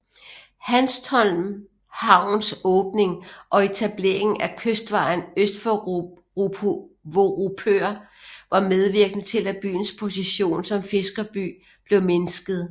Hanstholm Havns åbning og etableringen af Kystvejen øst for Vorupør var medvirkende til at byens position som fiskerby blev mindsket